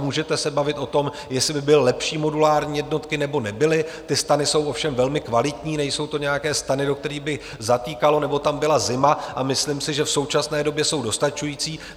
Můžete se bavit o tom, jestli by byly lepší modulární jednotky nebo nebyly, ty stany jsou ovšem velmi kvalitní, nejsou to nějaké stany, do kterých by zatékalo, nebo tam byla zima, a myslím si, že v současné době jsou dostačující.